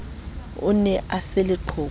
o ne a se leqhoko